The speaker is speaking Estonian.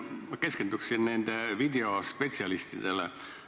Ma keskenduksin siin nendele videospetsialistidele.